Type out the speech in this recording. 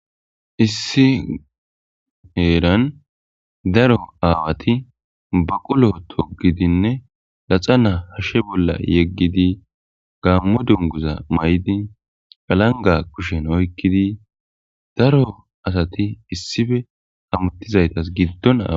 issi heeran daro aawati baqulo togidinne laxa naa hashshe bolla yeggidi gammo dunguza may7di alanga kushen oykkidi daro asati issife hamuttizaytas giddon aa